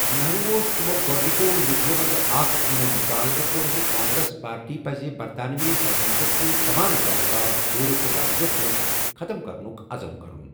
نہرو اوس تِمَو گۄڈنِکٮ۪و لیڑرو منٛز اکھ یِمَو مُطالبہٕ کوٚر زِ کانگریس پارٹی پَزِ برطانوی سلطنتس سۭتۍ تمام تعلقات پوٗرٕ تہٕ واضح پٲٹھۍ ختم کرنُک عزم کرُن۔